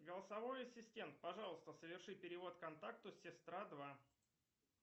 голосовой ассистент пожалуйста соверши перевод контакту сестра два